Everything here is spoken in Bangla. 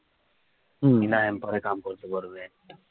হম